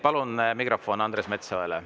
Palun mikrofon Andres Metsojale.